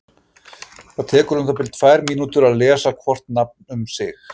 Það tekur um það bil tvær mínútur að lesa hvort nafn um sig.